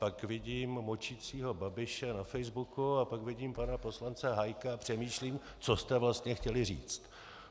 Pak vidím močícího Babiše na Facebooku a pak vidím pana poslance Hájka a přemýšlím, co jste vlastně chtěli říct.